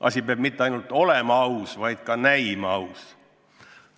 Asi mitte ainult ei pea olema aus, vaid ka näima aus.